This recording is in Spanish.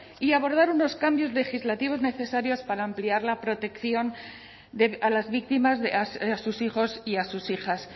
y abordar unos cambios legislativos necesarios para ampliar la protección a las víctimas a sus hijos y a sus hijas